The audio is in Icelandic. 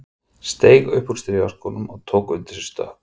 Steig upp úr strigaskónum og tók undir sig stökk.